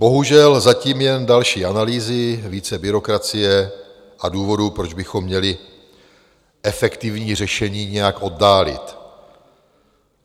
Bohužel zatím jen další analýzy, více byrokracie a důvodů, proč bychom měli efektivní řešení nějak oddálit.